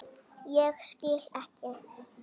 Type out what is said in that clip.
Ég skil ekki.